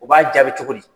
U b'a jaabi cogo di